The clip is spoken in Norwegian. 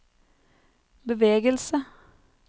bevegelse